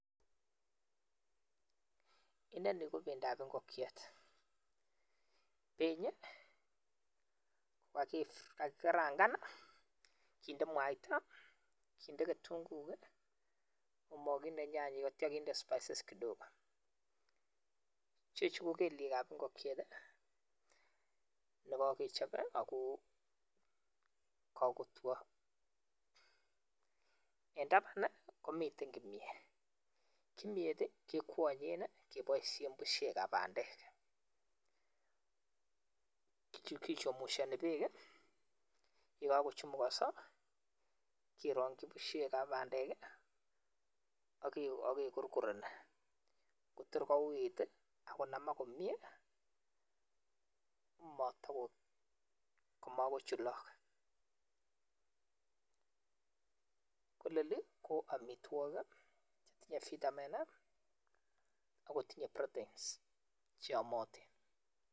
inonii kobendo ab ngokyet, benyii kogagigarangan kinde mwaita kinde kitunguyoot komoginde nyanyik ak tyo kinde spices kidogo, chechu kogeliek ab ngokyeet negogechob ii agoo kagotwoo en taban komiten kimyet, kimyeet kekwonyen ii keboisien busyeek ab bandeek kichomusyoni beek ii yegagochumugoso kerongyi busyeek ab bandeek ak kegorgoreni kotor kouit ii ak konamak komyee komagochulok kolelii ko omitwogik tinyee vitamin ii ak kotinye proteins cheomotin